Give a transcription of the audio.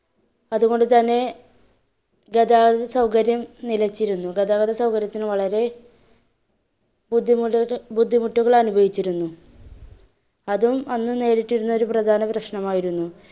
അതുകൊണ്ട് തന്നെ ഗതാഗത സൗകര്യം നിലച്ചിരുന്നു, ഗതാഗത സൗകര്യത്തിന് വളരെ ബുദ്ധിമുട്ടുകൾ ബുദ്ധിമുട്ടുകള്‍~ അനുഭവിച്ചിരുന്നു. അതും അന്ന് നേരിട്ടിരുന്ന ഒരു പ്രധാന പ്രശ്‌നമായിരുന്നു.